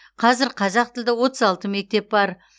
қазір қазақтілді отыз алты мектеп бар